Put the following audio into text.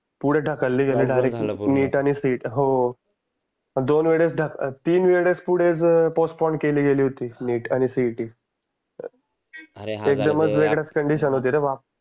पुढे ढकलली गेली डायरेक्ट NEET आणि CET हो हो दो. न वेळेस तीन वेळेस पुढे पोस्पोंड केली होती NEET आणि CET वेगळ्याच कंडिशन होती रे बाप